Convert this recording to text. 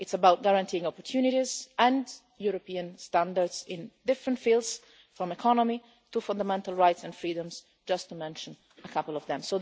It's about guaranteeing opportunities and European standards in different fields from the economy to fundamental rights and freedoms, just to mention a couple of them.